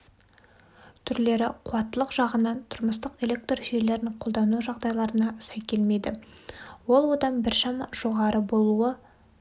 түрлері қуаттылық жағынан тұрмыстық электр желілерін қолдану жағдайларына сай келмейді ол одан біршама жоғары болуы